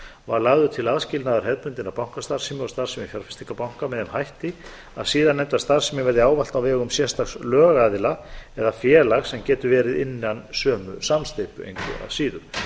var lagður til aðskilnaður hefðbundinnar bankastarfsemi og starfsemi fjárfestingarbanka með þeim hætti að síðarnefnda starfsemin verði ávallt á vegum sérstaks lögaðila eða félags sem getur verið innan sömu samsteypu engu að síður